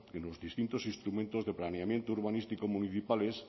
en los distintos instrumentos de planeamiento urbanístico municipales